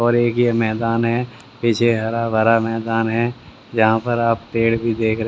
और एक यह मैदान है पीछे हरा भरा मैदान है जहां पर आप पेड़ भी देख रहे--